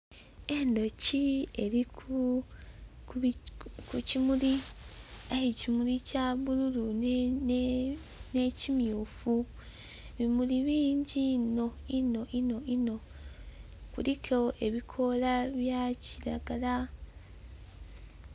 Enduki eri ku kimuli, aye ekimuli kya bululu n'ekimyufu ebimuli bingi inho, inho, inho, biliku ebikoola bya kiragala.